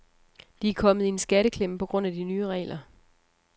De er kommet i en skatteklemme på grund af de nye regler.